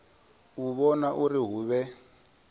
u vhona uri hu vhe